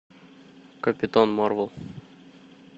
капитан марвел